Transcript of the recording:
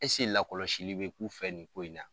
Ese lakɔlɔsili bɛ k'u fɛ nin ko in na.